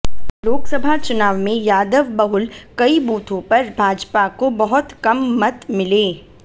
लोकसभा चुनाव में यादव बहुल कई बूथों पर भाजपा को बहुत कम मत मिले